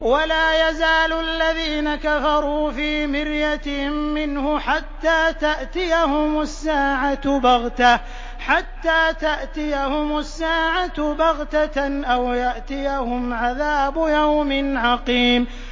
وَلَا يَزَالُ الَّذِينَ كَفَرُوا فِي مِرْيَةٍ مِّنْهُ حَتَّىٰ تَأْتِيَهُمُ السَّاعَةُ بَغْتَةً أَوْ يَأْتِيَهُمْ عَذَابُ يَوْمٍ عَقِيمٍ